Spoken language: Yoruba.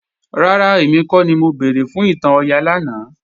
Rárá, èmi kọ́ ni mo béèrè fún ìtàn Ọya lánàá